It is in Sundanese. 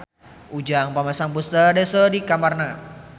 Ujang masang poster Daesung di kamarna